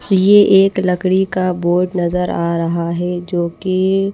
ये एक लकड़ी का बोर्ड नजर आ रहा है जोकि--